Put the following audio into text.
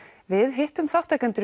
við hittum þátttakendur